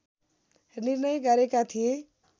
निर्णय गरेका थिए